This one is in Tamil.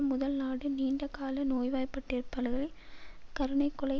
முதல் நாடு நீண்ட கால நோய்வாய்பட்டிருப்பளவில் கருணை கொலை